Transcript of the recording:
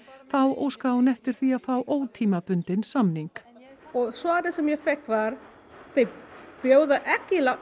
þá óskaði hún eftir því að fá ótímabundinn samning og svarið sem ég fékk var þeir bjóða ekki